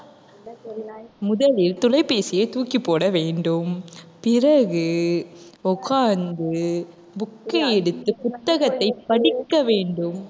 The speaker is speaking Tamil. முதலில் தொலைபேசியை தூக்கிப் போட வேண்டும். பிறகு உட்கார்ந்து book ஐ எடுத்து புத்தகத்தைப் படிக்க வேண்டும்.